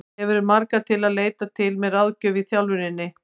Hefurðu marga til að leita til með ráðgjöf í þjálfuninni?